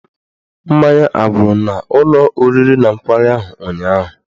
Mmanya agwụrụ n'ụlọ oriri na nkwari ahụ ụnyaahụ?